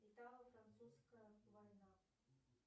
итало французская война